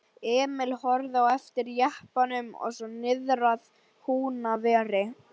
Emil horfði á eftir jeppanum og svo niðrað Húnaveri.